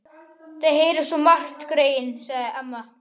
Þau heyra svo margt, greyin, sagði amma.